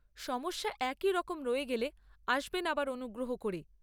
সমস্যা একইরকম রয়ে গেলে আসবেন আবার অনুগ্রহ করে।